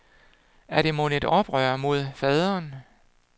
Er det mon et oprør mod faderen?